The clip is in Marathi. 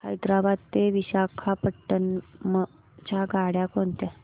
हैदराबाद ते विशाखापट्ण्णम च्या गाड्या कोणत्या